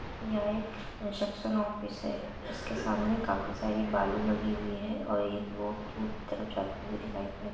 यहाँ एक ऑफिस है उसके सामने काफी सारी बालू लगी हुई है और एक रोड दूर की तरफ जाती दिखाई पड़ रही है।